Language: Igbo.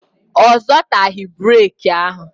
Ọ zọtaghị breki ahụ